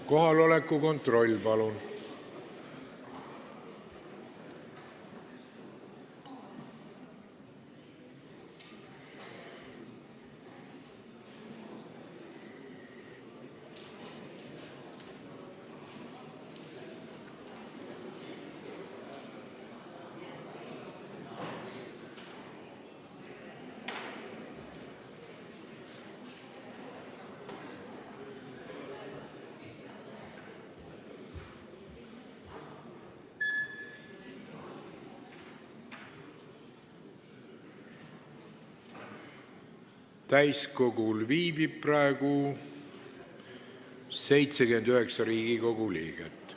Kohaloleku kontroll Täiskogul viibib praegu 79 Riigikogu liiget.